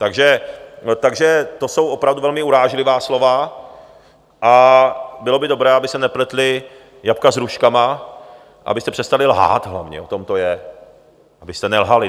Takže to jsou opravdu velmi urážlivá slova a bylo by dobré, aby se nepletly jabka s hruškama, abyste přestali lhát, hlavně, o tom to je, abyste nelhali.